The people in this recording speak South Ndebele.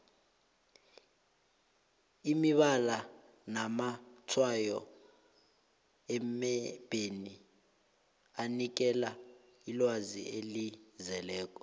imibala namatshwayo emebheni anikela ilwazi elizeleko